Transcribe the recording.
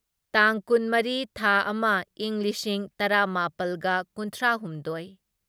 ꯇꯥꯡ ꯀꯨꯟꯃꯔꯤ ꯊꯥ ꯑꯃ ꯢꯪ ꯂꯤꯁꯤꯡ ꯇꯔꯥꯃꯥꯄꯜꯒ ꯀꯨꯟꯊ꯭ꯔꯥꯍꯨꯝꯗꯣꯢ